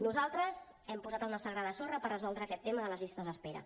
nosaltres hem posat el nostre gra de sorra per resoldre aquest tema de les llistes d’espera